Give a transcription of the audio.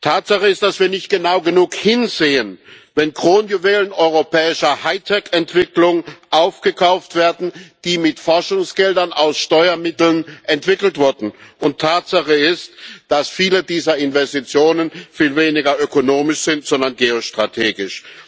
Tatsache ist, dass wir nicht genau genug hinsehen, wenn Kronjuwelen europäischer Hightech Entwicklung aufgekauft werden, die mit Forschungsgeldern aus Steuermitteln entwickelt wurden, und Tatsache ist, dass viele dieser Investitionen viel weniger ökonomisch sind als vielmehr geostrategisch.